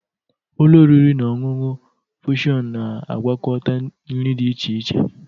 Ụlọ oriri na ọṅụṅụ fushon na-agwakọta nri dị iche iche.